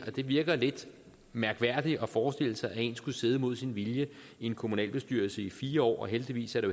det virker lidt mærkværdigt at forestille sig at en skulle sidde mod sin vilje i en kommunalbestyrelse i fire år og heldigvis er det